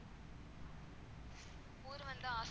ஊரு வந்து